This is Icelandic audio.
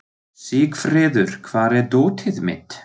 Sigfreður, hvar er dótið mitt?